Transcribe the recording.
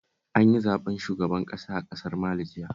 An yi zaɓen shugaban ƙasa a ƙasar Mali jiya